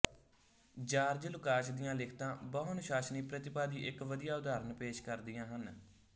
George Lukacs ਦੀਆਂ ਲਿਖਤਾਂ ਬਹੁਅਨੁਸ਼ਾਸਨੀ ਪ੍ਰਤਿਭਾ ਦੀ ਇਕ ਵਧੀਆ ਉਦਾਹਰਣ ਪੇਸ਼ ਕਰਦੀਆਂ ਹਨ